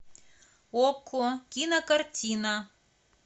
окко кинокартина